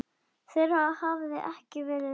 þeirra hafi ekki verið virtur.